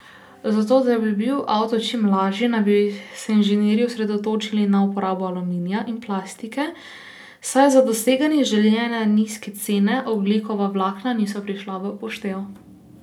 Za to, da bi bil avtomobil čim lažji, naj bi se inženirji osredotočili na uporabo aluminija in plastike, saj za doseganje željene nizke cene, ogljikova vlakna niso prišla v poštev.